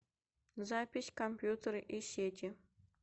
запись компьютеры и сети